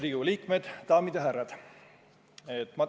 Riigikogu liikmed, daamid ja härrad!